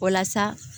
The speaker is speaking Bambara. O la sa